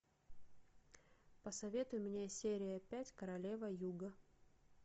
посоветуй мне серия пять королева юга